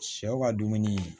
Sɛw ka dumuni